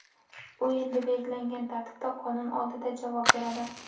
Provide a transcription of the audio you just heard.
U endi belgilangan tartibda qonun oldida javob beradi.